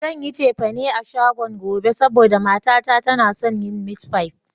Zan yi cefane a shagon gobe, saboda mata ta tana son yin mit fai